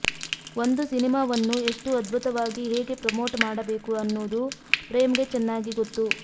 ಒಂದು ಸಿನಿಮಾವನ್ನು ಎಷ್ಟು ಅದ್ಭುತವಾಗಿ ಹೇಗೆ ಪ್ರಮೋಟ್ ಮಾಡಬೇಕು ಅನ್ನೋದು ಪ್ರೇಮ್ಗೆ ಚೆನ್ನಾಗಿ ಗೊತ್ತು